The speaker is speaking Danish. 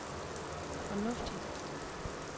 fornuftigt